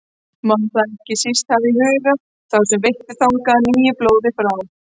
Má þá ekki síst hafa í huga þá sem veittu þangað nýju blóði frá